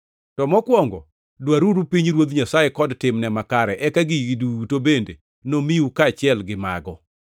To mokwongo, dwaruru pinyruoth Nyasaye kod timne makare eka gigi duto bende nomiu kaachiel gi mago.